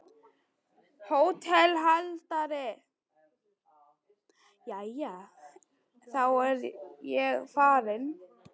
HÓTELHALDARI: Jæja, þá er ég farinn.